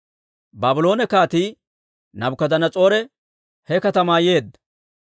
Baabloone Kaatii Naabukadanas'oore he katamaa yeedda.